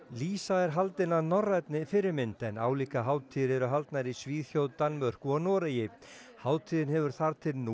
lýsa er haldin að norrænni fyrirmynd en álíka hátíðir eru haldnar í Svíþjóð Danmörku og Noregi hátíðin hefur þar til nú